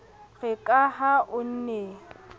re ka ha o ne